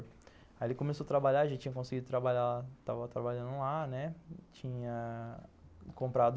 Aí ele começou a trabalhar, já tinha conseguido trabalhar, estava trabalhando lá, né, tinha comprado...